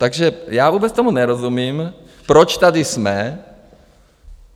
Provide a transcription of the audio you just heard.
Takže já vůbec tomu nerozumím, proč tady jsme.